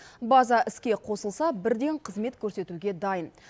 база іске қосылса бірден қызмет көрсетуге дайын